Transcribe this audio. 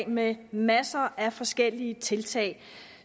med masser af forskellige tiltag